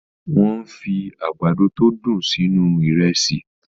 Wọ́n fi àgbàdo tó dùn sínú Ìrẹ́sì